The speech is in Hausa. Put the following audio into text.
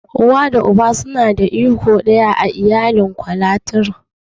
Uwa da Uba suna da iko iri ɗaya a iyalin Ikwalateral.